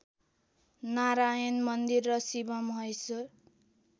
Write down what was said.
नारायण मन्दिर र शिवमहेश्वर